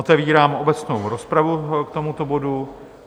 Otevírám obecnou rozpravu k tomuto bodu.